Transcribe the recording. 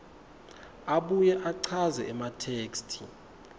abuye achaze ematheksthi